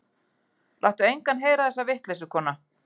Láttu engan heyra þessa vitleysu, kona.